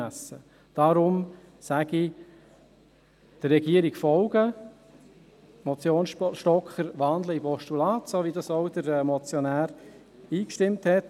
– Deshalb sage ich: Der Regierung folgen, die Motion Stocker in ein Postulat wandeln, wie der Motionär zugestimmt hat.